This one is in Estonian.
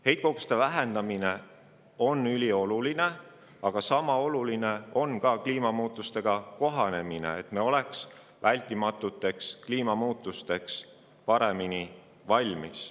Heitkoguste vähendamine on ülioluline, aga sama oluline on ka kliimamuutustega kohaneda, et me oleks vältimatuteks kliimamuutusteks paremini valmis.